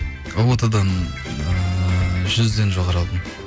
ұбт дан ыыы жүзден жоғары алдым